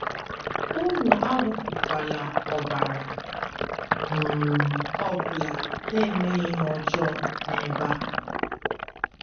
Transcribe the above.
Unu awụfukwala ọbara um ọ bụla na - emeghị ihe ọjọọ n’ebe a. ”